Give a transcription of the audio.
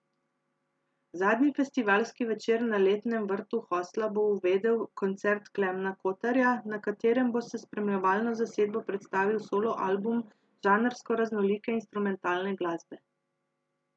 Zadnji festivalski večer na letnem vrtu hostla bo uvedel koncert Klemena Kotarja, na katerem bo s spremljevalno zasedbo predstavil solo album žanrsko raznolike instrumentalne glasbe.